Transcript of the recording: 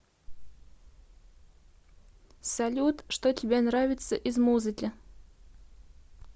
салют что тебе нравится из музыки